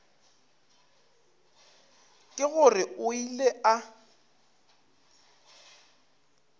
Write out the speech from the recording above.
ke gore o ile a